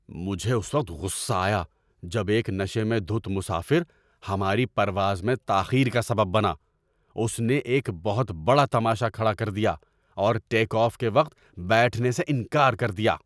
مجھے اس وقت غصہ آیا جب ایک نشے میں دھت مسافر ہماری پرواز میں تاخیر کا سبب بنا، اس نے ایک بہت بڑا تماشا کھڑا کر دیا اور ٹیک آف کے وقت بیٹھنے سے انکار کر دیا۔